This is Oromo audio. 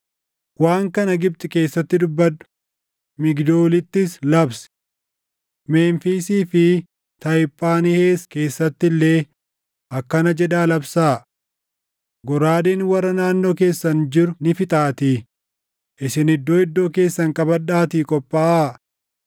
“Waan kana Gibxi keessatti dubbadhu; Migdoolittis labsi; Memfiisii fi Tahiphaanhees keessatti illee akkana jedhaa labsaa: ‘Goraadeen warra naannoo keessan jiru ni fixaatii isin iddoo iddoo keessan qabadhaatii qophaaʼaa.’